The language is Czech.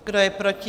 Kdo je proti?